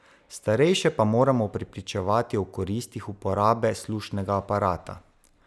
Starejše pa moramo prepričevati o koristih uporabe slušnega aparata!